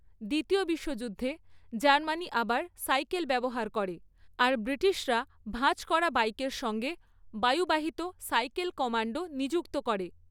দ্বিতীয় বিশ্বযুদ্ধে জার্মানি আবার সাইকেল ব্যবহার করে, আর ব্রিটিশরা ভাঁজ করা বাইকের সঙ্গে বায়ুবাহিত 'সাইকেল কমান্ডো' নিযুক্ত করে।